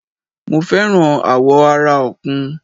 Mo fẹ́ràn àwọ̀ ara Ọ̀kùn